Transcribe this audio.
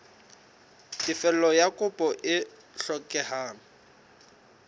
tefello ya kopo e hlokehang